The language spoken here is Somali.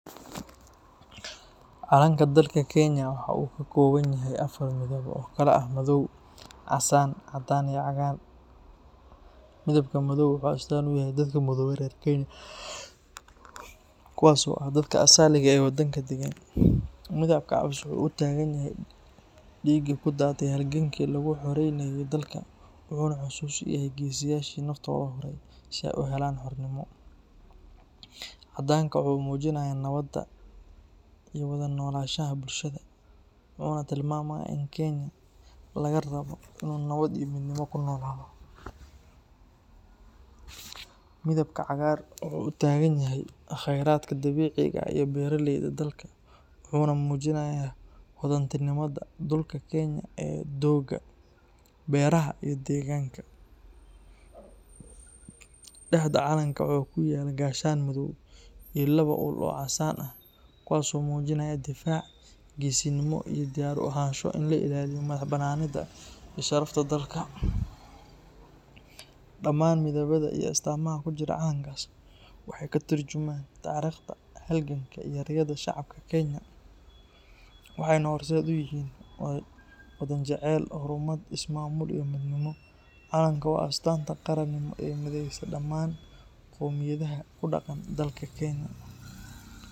Calanka dalka Kenya waxa uu ka kooban yahay afar midab oo kala ah madow, casaan, caddaan iyo cagaar. Midabka madow wuxuu astaan u yahay dadka madow ee reer Kenya, kuwaas oo ah dadka asaliga ah ee waddanka deggan. Midabka cas wuxuu u taagan yahay dhiiggii ku daatay halgankii lagu xoraynayey dalka, wuxuuna xusuus u yahay geesiyaashii naftooda huray si ay u helaan xornimo. Caddaanka waxa uu muujinayaa nabadda iyo wada noolaanshaha bulshada, wuxuuna tilmaamayaa in Kenyan laga rabo inuu nabad iyo midnimo ku noolaado. Midabka cagaar wuxuu u taagan yahay khayraadka dabiiciga ah iyo beeraleyda dalka, wuxuuna muujinayaa hodantinimada dhulka Kenya ee doogga, beeraha iyo deegaanka. Dhexda calanka waxaa ku yaal gaashaan madow iyo laba ul oo casaan ah, kuwaas oo muujinaya difaac, geesinimo iyo diyaar u ahaansho in la ilaaliyo madax-bannaanida iyo sharafta dalka. Dhamaan midabada iyo astaamaha ku jira calanka waxay ka tarjumayaan taariikhda, halganka, iyo riyada shacabka Kenya, waxayna horseed u yihiin wadan jecel horumar, is-maamul iyo midnimo. Calanku waa astaanta qarannimo ee mideysa dhammaan qowmiyadaha ku dhaqan dalka Kenya.